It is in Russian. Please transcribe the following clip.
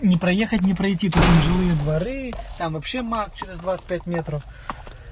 не проехать не пройти тут вон жилые дворы там вообще мак через двадцать пять метров